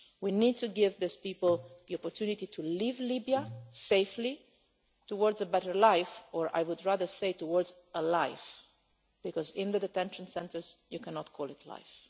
We need to give these people the opportunity to leave Libya safely, towards a better life, or I would rather say towards a life because in the detention centres you cannot call it life.